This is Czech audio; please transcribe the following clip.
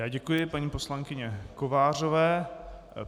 Já děkuji paní poslankyni Kovářové.